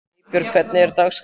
Eybjört, hvernig er dagskráin?